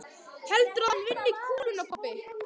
Heldurðu að hann vinni kúluna pabbi?